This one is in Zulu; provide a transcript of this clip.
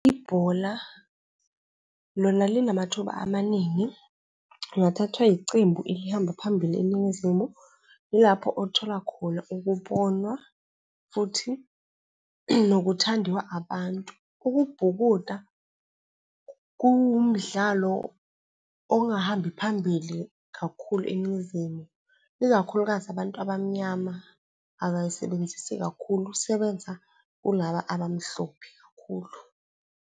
Ibhola lona linamathuba amaningi, ungathathwa icembu elihamba phambili eNingizimu, yilapho uthola khona ukubonwa futhi nokuthandiwa abantu. Ukubhukuda kuwumdlalo ongahambi phambili kakhulu eNingizimu, ikakhulukazi abantu abamnyama abayisebenzisi kakhulu isebenza kulaba abamhlophe kakhulu.